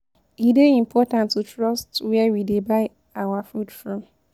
E dey important to trust where we dey buy our food from.